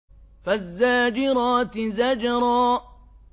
فَالزَّاجِرَاتِ زَجْرًا